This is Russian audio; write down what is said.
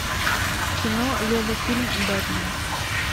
кино лего фильм бэтмен